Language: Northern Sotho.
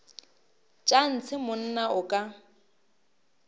tša ntshe monna o ka